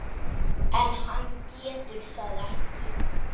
En hann getur það ekki.